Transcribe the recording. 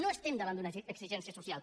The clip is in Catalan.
no estem davant d’una exigència social